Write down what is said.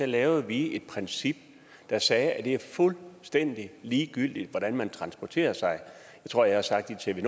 lavede et princip der sagde at det var fuldstændig ligegyldigt hvordan man transporterede sig jeg tror jeg har sagt i tv